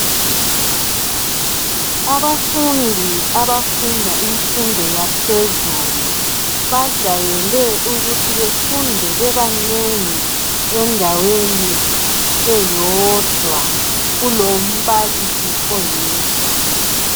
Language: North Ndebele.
Abafundi abafunda imfundo yaphezulu .Bajayele ukuthi befunde bebanengi endaweni eyodwa. Kulombalisi oyedwa .